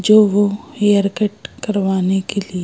जो वो hair cut करवाने के लिए--